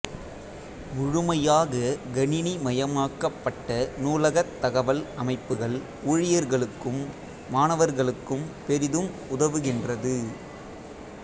முழுமையாக கணினிமயமாக்கப்பட்ட நூலக தகவல் அமைப்புகள் ஊழியர்களுக்கும் மாணவர்களுக்கும் பெரிதும் உதவுகின்றது